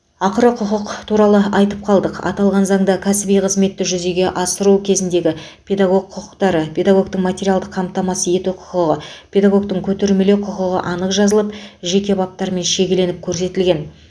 ақыры құқық туралы айтып қалдық аталған заңда кәсіби қызметті жүзеге асыру кезіндегі педагог құқықтары педагогтің материалдық қамтамасыз ету құқығы педагогтің көтермелеу құқығы анық жазылып жеке баптармен шегеленіп көрсетілген